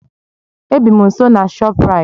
Ebị m nso na Shoprite